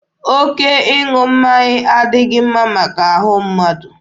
Oke ịṅụ mmanya adịghị mma maka ahụ mmadụ.